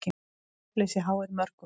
Svefnleysi háir mörgum.